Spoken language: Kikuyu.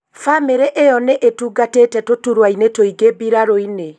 Famĩrĩ ĩyo nĩ ĩtungatĩte tũturwa-inĩ tũingĩ mbirarũ-inĩ